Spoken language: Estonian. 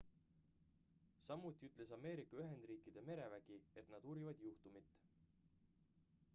samuti ütles ameerika ühendriikide merevägi et nad uurivad juhtumit